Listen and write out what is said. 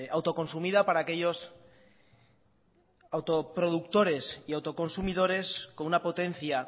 autoconsumida para aquellos autoproductores y autoconsumidores con una potencia